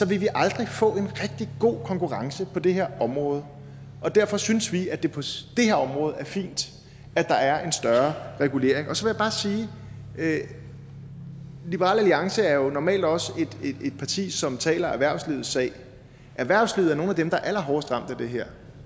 vil vi aldrig få en rigtig god konkurrence på det her område og derfor synes vi at det på det her område er fint at der er en større regulering så vil jeg bare sige at liberal alliance jo normalt også er et parti som taler erhvervslivets sag erhvervslivet er nogle af dem der er allerhårdest ramt af det her